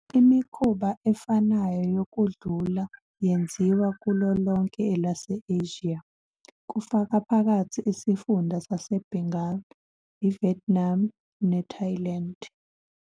Imikhuba efanayo yokudlula yenziwa kulo lonke elase-Asia, kufaka phakathi isifunda saseBengal, iVietnam, neThailand.